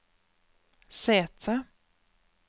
sete